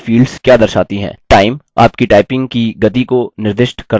time – आपकी typing की गति को निर्दिष्ट करता है